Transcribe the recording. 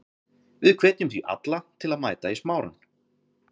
Við hvetjum því alla til að mæta í Smárann.